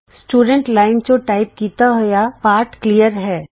student ਵਿਦਿਆਰਥੀ line ਚੋਂ type ਕੀਤਾ ਹੋਇਆ ਪਾਠ ਸਾਫ ਹੈ